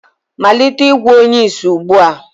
malite ịgwọ onye ìsì ugbu a!